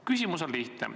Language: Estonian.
Küsimus on lihtne.